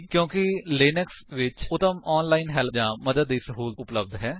ਕਿਉਂਕਿ ਲਿਨਕਸ ਵਿੱਚ ਉੱਤਮ ਆਨਲਾਇਨ ਹੈਲਪ ਜਾਂ ਮਦਦ ਦੀ ਸਹੂਲਤ ਉਪਲੱਬਧ ਹੈ